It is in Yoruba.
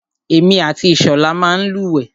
Èmi àti Ìṣọ̀lá máa ń lúwẹ̀ẹ́.